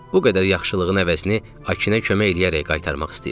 Bu qədər yaxşılığın əvəzini Akinə kömək eləyərək qaytarmaq istəyirdim.